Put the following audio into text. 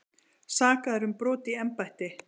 Sakaðir um brot í embætti